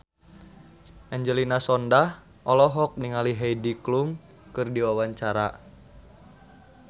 Angelina Sondakh olohok ningali Heidi Klum keur diwawancara